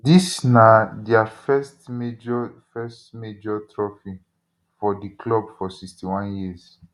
dis na dia first major first major trophy for di club for 61 years